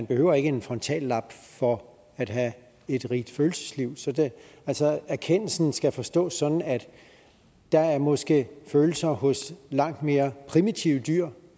behøver en frontallap for at have et rigt følelsesliv altså erkendelsen skal forstås sådan at der måske er følelser hos langt mere primitive dyr